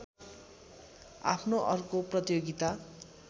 आफ्नो अर्को प्रतियोगिता